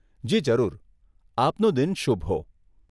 જી જરૂર, આપનો દિન શુભ હો.